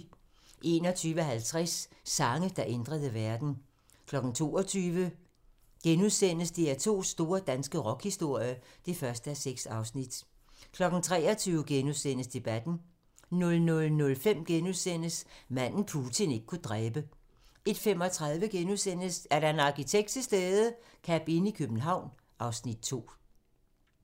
21:50: Sange, der ændrede verden 22:00: DR2's store danske rockhistorie (1:6)* 23:00: Debatten * 00:05: Manden, Putin ikke kunne dræbe * 01:35: Er der en arkitekt til stede? - Cabinn i København (Afs. 2)*